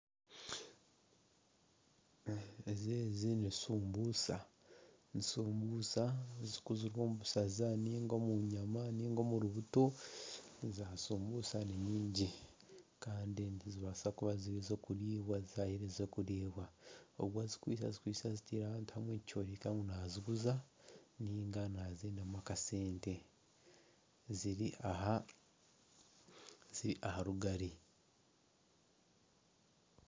Ezi ni shumbusha zikozirwe omu busaza ninga omu nyama ninga omuri buto . Za shumbusha ni nyingi Kandi nizibasa kuba ziri ezokuribwa . Ogwe azikwaitse azitiire ahantu hamwe nikyoreka ngu naziguza ninga nazendamu akasente ziri aha rugari.